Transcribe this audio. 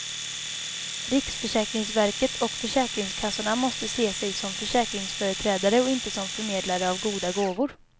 Riksförsäkringsverket och försäkringskassorna måste se sig som försäkringsföreträdare och inte som förmedlare av goda gåvor.